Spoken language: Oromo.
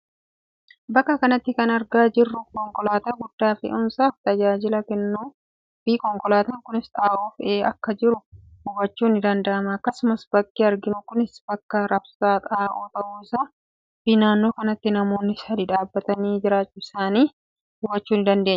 Bakka kanatti kan argaa jirru konkolaataa guddaa fe'umsaaf tajaajila kennu fi konkolaataan kunis xaa'oo fe'ee akka jiru hubachuu ni dandeenya. Akkasumas bakki arginu kunis bakka raabsa xaa'oo ta'uu isaa fi nannoo kanatti Namoonni sadii dhaabbatanii jiraachuu isaani hubachuu ni dandeenya.